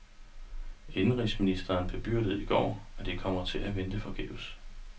Indenrigsministeren bedyrede i går, at de kommer til at vente forgæves.